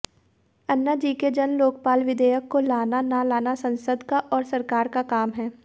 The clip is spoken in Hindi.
अन्नाजी के जनलोकपाल विधेयक को लाना न लाना संसद का और सरकार का काम है